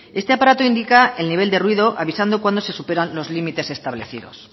este aparato indica el nivel de ruido avisando cuando se superan los límites establecidos